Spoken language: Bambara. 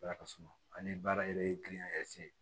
Ala ka suma ani baara yɛrɛ gili